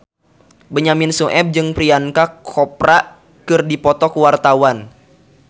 Benyamin Sueb jeung Priyanka Chopra keur dipoto ku wartawan